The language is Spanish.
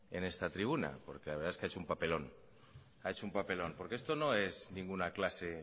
en esta tribuna porque la verdad es que ha hecho un papelón ha hecho un papelón porque esto no es ninguna clase